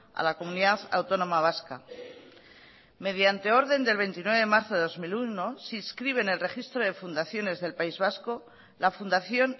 a la comunidad autónoma vasca mediante orden del veintinueve de marzo de dos mil uno se inscribe en el registro de fundaciones del país vasco la fundación